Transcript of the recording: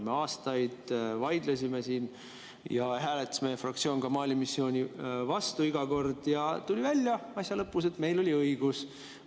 Me aastaid vaidlesime siin ja meie fraktsioon hääletas iga kord Mali missiooni vastu ja asja lõpus tuli välja, et meil oli õigus.